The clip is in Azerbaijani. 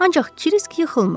Ancaq Krisk yıxılmırdı.